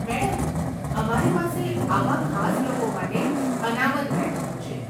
Madam, અમારી પાસે આવા ખાસ લોકો માટે અનામત બેઠકો છે.